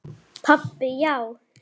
Pabbi, já!